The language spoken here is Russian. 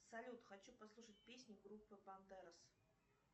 салют хочу послушать песни группы бандерос